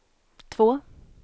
två